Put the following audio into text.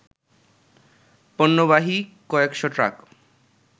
পণ্যবাহী কয়েকশ ট্রাক